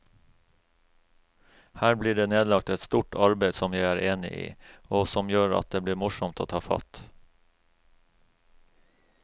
Her blir det nedlagt et stort arbeid som jeg er enig i, og som gjør at det blir morsomt å ta fatt.